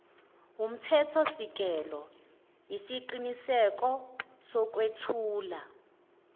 wumthethosisekelo yisiqiniseko sokwethula